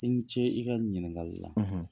I ni ce i ka nin ɲininkali la.